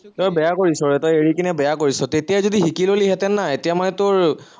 তই বেয়া কৰিছ, তই এৰি কিনে বেয়া কৰিছ, তেতিয়াই যদি শিকি ললিহেঁতেন না এতিয়া মানে তোৰ